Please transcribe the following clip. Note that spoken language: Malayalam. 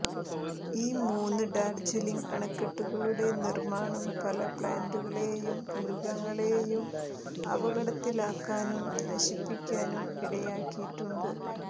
ഈ മൂന്ന് ഡാർജിലിംഗ് അണക്കെട്ടുകളുടെ നിർമ്മാണം പല പ്ലാന്റുകളെയും മൃഗങ്ങളെയും അപകടത്തിലാക്കാനും നശിപ്പിക്കാനും ഇടയാക്കിയിട്ടുണ്ട്